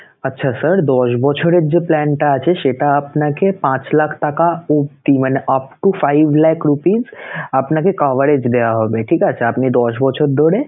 আচ্ছা sir দশ বছরের যে plan টা আছে সেটা আপনাকে পাঁচ লাখ টাকা অবধি মানে up to five lakh rupees আপনাকে coverage দেওয়া হবেঠিক আছে, আপনি দশ বছর ধরে